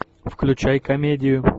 включай комедию